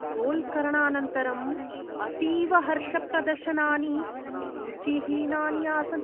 गोल्करणानन्तरं अतीव हर्षप्रदर्शनानि रुचिहीनानि आसन्।